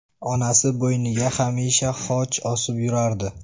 Onasi bo‘yniga hamisha xoch osib yurardi.